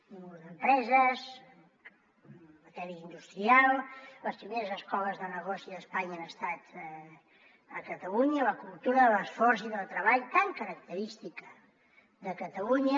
cúmul d’empreses en matèria industrial les primeres escoles de negoci d’espanya han estat a catalunya la cultura de l’esforç i del treball tan característica de catalunya